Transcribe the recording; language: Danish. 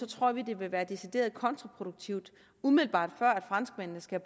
tror vi det vil være decideret kontraproduktivt umiddelbart før at franskmændene skal